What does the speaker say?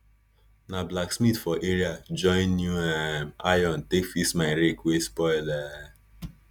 na blacksmith for area join new um iron take fix my rake wey spoil um